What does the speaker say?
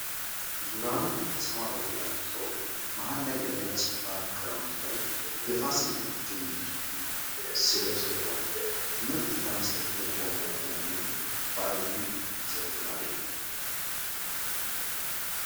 ዙሪያውን በሰማያዊ አጊጦ መሐል ላይ በነጭ ባግራውንድ ላይ የፋሲል ግንብ እና ስሙ ሰፍሯል ፤ ትምሕርት ለመስጠት የቆመ መሆኑን በአብይ ይመሰክራል።